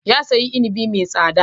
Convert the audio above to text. Ya sayo inibi mai tsada.